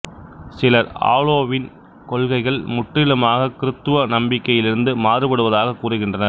சிலர் ஆலோவீன் கொள்கைகள் முற்றிலுமாக கிருத்துவ நம்பிக்கையிலிருந்து மாறுபடுவதாகக் கூறுகின்றனர்